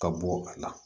Ka bɔ a la